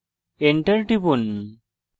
enter টিপুন